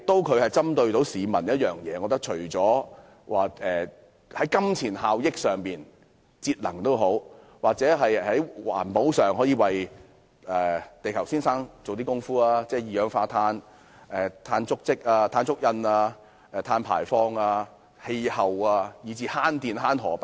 計劃不但可以為市民帶來金錢效益，還可以在節能或環保上為地球先生作出貢獻，例如有助減少二氧化碳、碳足跡及碳排放、改善氣候，以至節電和省錢。